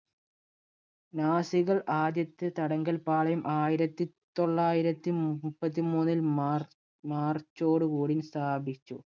നാസികൾ ആദ്യത്തെ തടങ്കൽപ്പാളയം ആയിരത്തി തൊള്ളായിരത്തി മുപ്പത്തി മൂന്നിൽ mar~march ടുകൂടി സ്ഥാപിച്ചു.